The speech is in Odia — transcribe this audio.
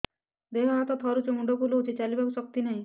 ଦେହ ହାତ ଥରୁଛି ମୁଣ୍ଡ ବୁଲଉଛି ଚାଲିବାକୁ ଶକ୍ତି ନାହିଁ